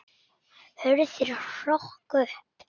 Hurðin hrökk upp!